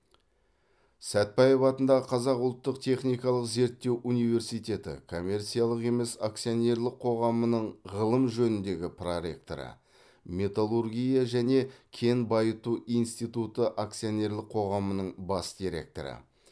сәтбаев атындағы қазақ ұлттық техникалық зерттеу университеті коммерциялық емес акционерлік қоғамының ғылым жөніндегі проректоры металлургия және кен байыту институты акционерлік қоғамының бас директоры